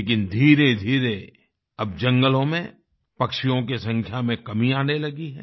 लेकिन धीरेधीरे अब जंगलों में पक्षियों की संख्या में कमी आने लगी है